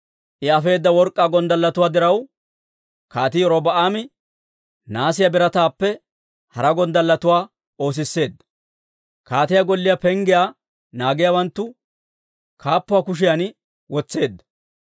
I afeedda work'k'aa gonddalletuwaa diraw, Kaatii Robi'aame nahaasiyaa birataappe hara gonddalletuwaa oosisseedda; kaatiyaa golliyaa penggiyaa naagiyaawanttu kaappuwaa kushiyan wotseedda.